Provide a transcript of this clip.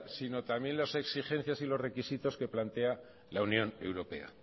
sino también las exigencias y requisitos que plantea la unión europea